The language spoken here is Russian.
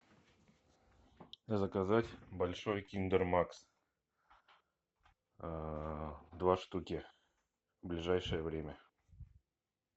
заказать большой киндер макс два штуки в ближайшее время